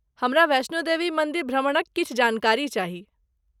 हमरा वैष्णो देवी मन्दिर भ्रमणक किछु जानकारी चाही।